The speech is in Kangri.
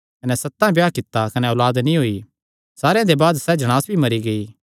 कने सतां ब्याह कित्ता कने औलाद नीं होई सारेयां दे बाद सैह़ जणांस भी मरी गेई